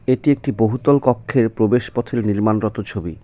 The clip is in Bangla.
এটি একটি বহুতল কক্ষের প্রবেশ পথের নির্মাণরত ছবি কি--